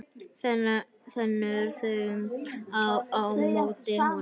Þenur þau á móti honum.